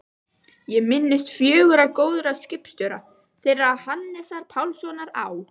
Ég minnist fjögurra góðra skipstjóra, þeirra Hannesar Pálssonar á